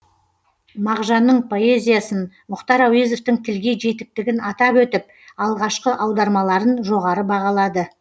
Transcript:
мағжанның поэзиясын мұхтар әуезовтің тілге жетіктігін атап өтіп алғашқы аудармаларын жоғары бағалады